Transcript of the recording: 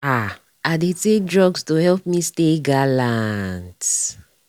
ah i dey take drugs to help me stay galant.